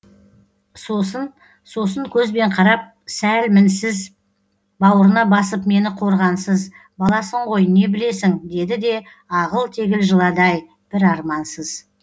сосын сосын көзбен қарап сәл мінсіз бауырына басып мені қорғансыз баласың ғой не білесің деді де ағыл тегіл жылады ай бір армансыз